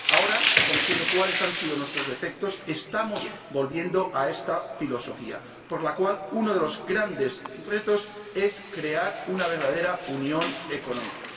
Ahora, sabiendo cuáles han sido nuestros defectos, estamos volviendo a esta filosofía, por la cual uno de los grandes retos es crear una verdadera unión económica.